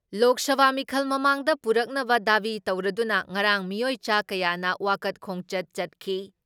ꯂꯣꯛ ꯁꯚꯥ ꯃꯤꯈꯜ ꯃꯃꯥꯡꯗ ꯄꯨꯔꯛꯅꯕ ꯗꯥꯕꯤ ꯇꯧꯔꯗꯨꯅ ꯉꯔꯥꯡ ꯃꯤꯑꯣꯏ ꯆꯥ ꯀꯌꯥꯅ ꯋꯥꯀꯠ ꯈꯣꯡꯆꯠ ꯆꯠꯈꯤ ꯫